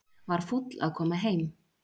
Var fúll að koma heim